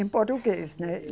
Em português, né?